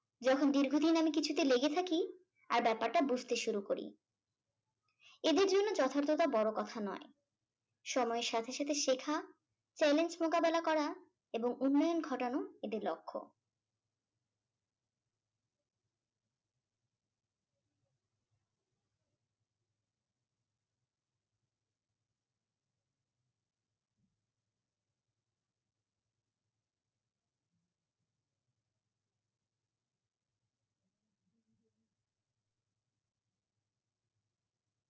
যখন দীর্ঘদিন আমি কিছুতে লেগে থাকি আর ব্যাপারটা বুঝতে শুরু করি এদের জন্য যথার্থতা বড় কথা নয় সময়ের সাথে সাথে শেখা challenge মোকাবেলা করা এবং উন্নয়ন ঘটানো এদের লক্ষ্য ।